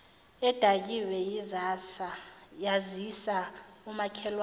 edakiwe yazisa umakhelwane